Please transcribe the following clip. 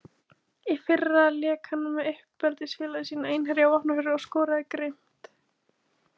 Í fyrra lék hann með uppeldisfélagi sínu Einherja á Vopnafirði og skoraði grimmt.